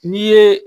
N'i ye